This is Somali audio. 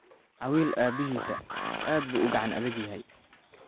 Awil Aabbihisa aad buu u gacan adag yahay